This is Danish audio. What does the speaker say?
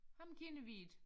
Ham kender vi ikke